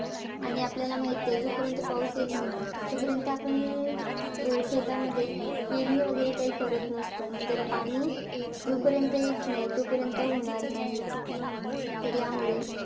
आणि आपल्याला माहितीय जोपर्यंत पाऊस येत नाही, तोपर्यंत आपण अं शेतामध्ये पेरणी वैगरे काही करत नसतो. त्यात पाणी जोपर्यंत येत नाही तोपर्यंत होणार नाही. तर यामुळे,